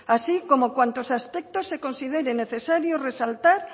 así como cuantos aspectos se consideren necesarios resaltar